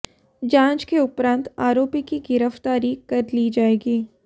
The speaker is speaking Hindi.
जांच के उपरांत आरोपी की गिरफ्तारी कर ली जाएगी